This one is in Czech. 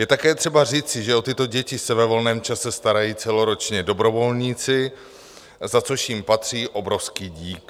Je také třeba říci, že o tyto děti se ve volném čase starají celoročně dobrovolníci, za což jim patří obrovský dík.